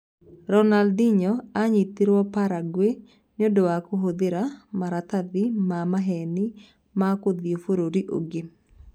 Ronaldinho aanyitirũo Paraguay nĩ ũndũ wa kũhũthĩra maratathi ma maheeni ma gũthiĩ bũrũri ũngĩ